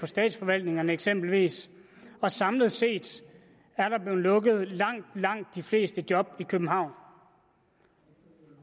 statsforvaltningerne eksempelvis samlet set er der blevet lukket langt langt de fleste job i københavn